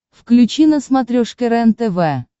включи на смотрешке рентв